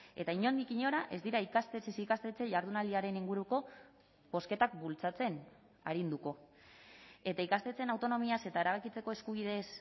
eta inondik inora ez dira ikastetxez ikastetxe jardunaldiaren inguruko bozketak bultzatzen arinduko eta ikastetxeen autonomiaz eta erabakitzeko eskubideez